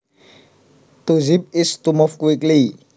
To zip is to move quickly